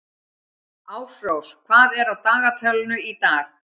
Ásrós, hvað er á dagatalinu í dag?